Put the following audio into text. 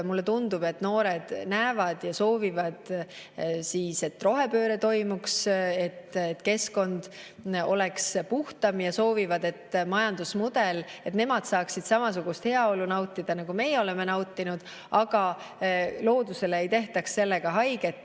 Mulle tundub, et noored näevad ja soovivad, et rohepööre toimuks, et keskkond oleks puhtam, ja soovivad, et majandusmudel, et nemad saaksid samasugust heaolu nautida, nagu meie oleme nautinud, aga sellega ei tehtaks loodusele haiget.